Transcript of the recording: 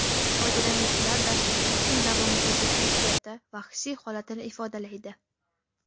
Foydalanuvchilar dasturda kun davomidagi kayfiyati va hissiy holatini ifodalaydi.